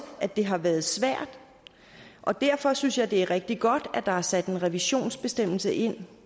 at det har været svært og derfor synes jeg det er rigtig godt at der er sat en revisionsbestemmelse ind